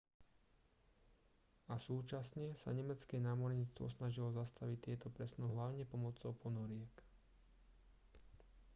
a súčasne sa nemecké námorníctvo snažilo zastaviť tieto presuny hlavne pomocou ponoriek